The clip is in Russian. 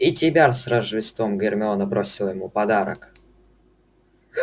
и тебя с рождеством гермиона бросила ему подарок